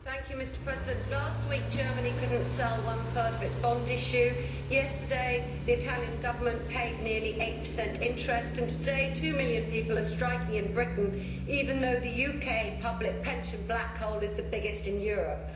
Mr President, last week Germany could not sell one third of its bond issue, yesterday the Italian Government paid nearly 8 interest and today two million people are striking in Britain even though the UK public pension black hole is the biggest in Europe.